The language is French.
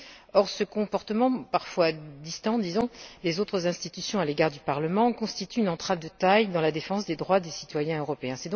Or, ce comportement parfois distant, disons, des autres institutions à l'égard du Parlement constitue une entrave de taille dans la défense des droits des citoyens européens.